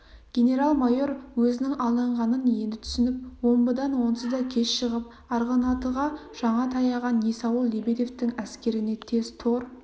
генерал-майор өзінің алданғанын енді түсініп омбыдан онсыз да кеш шығып арғынатыға жаңа таяған есауыл лебедевтің әскеріне тез тор